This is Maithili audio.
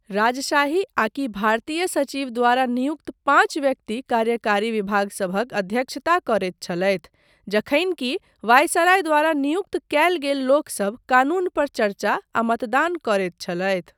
राजशाही आकि भारतीय सचिव द्वारा नियुक्त पाँच व्यक्ति कार्यकारी विभागसभक अध्यक्षता करैत छलथि जखनि कि वायसराय द्वारा नियुक्त कयल गेल लोकसभ कानून पर चर्चा आ मतदान करैत छलथि।